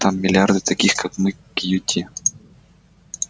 там миллиарды таких как мы кьюти